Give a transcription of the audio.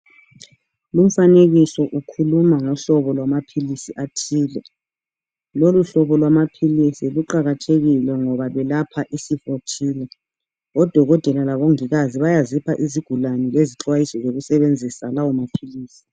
Lumfanekiso ukhuluma ngohlobo lwamaphilisi athile. Loluhlobo lwamaphilisi luqakathekile ngoba lwelapha isifo thile. Odokotela labomongikazi bayazioha izigulane lezixwayiso zokusebenzisa lawomaphilisi.